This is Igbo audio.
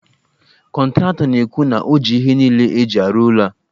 Kọntratọ na-ekwu na o ji ihe niile e ji arụ ụlọ a